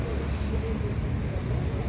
Şişdi, şişdi bu, şişdi.